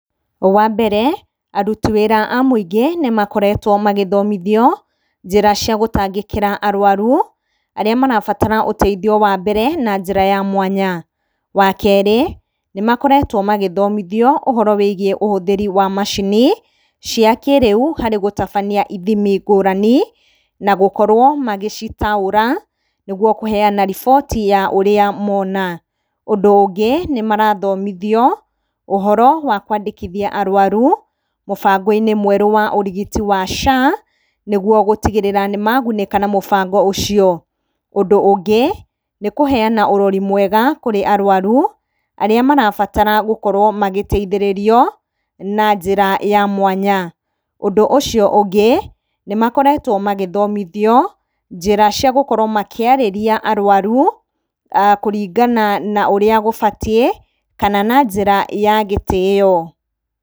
Wa mbere, aruti wĩra a mũingĩ nĩmakoretwo magĩthomithio njĩra cia gũtangĩkĩra arwaru arĩa marabatara ũteithio wa mbere na njĩra ya mwanya. Wa kerĩ, nĩmakoretwo magĩthomithio ũhoro wa ũhũthĩri wa macini cia kĩrĩu harĩ gũtabania ithimi ngũrani, na gũkorwo magĩcitaũra nĩguo kũheana riboti ya ũrĩa mona. Ũndũ ũngĩ nĩmarathomithio ũhoro wa kwandĩkithia arwaru mũbango-ini mwerũ wa urigiti wa SHA nĩguo gũtigĩrĩra nĩmagunĩka na mũbango ũcio. Ũndũ ũngĩ, nĩ kũheana ũrori mwega kurĩ arwaru arĩa marabatara gũkorwo magĩteithĩrĩrio na njĩra ya mwanya. Ũndũ ũcio ũngĩ, nĩ makoretwo magĩthomithio njĩra cia gũkorwo makĩarĩria arwaru kũringana na ũrĩa gũbatiĩ, kana na njĩra ya gĩtĩo.